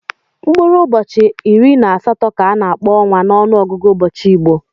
Mkpụrụ ụbọchị iri na asatọ ka a na-akpọ ọnwa n'ọnụọgụgụ ụbọchị Igbo.